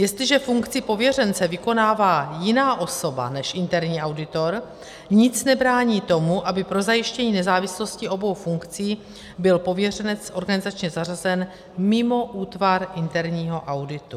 Jestliže funkci pověřence vykonává jiná osoba než interní auditor, nic nebrání tomu, aby pro zajištění nezávislosti obou funkcí byl pověřenec organizačně zařazen mimo útvar interního auditu.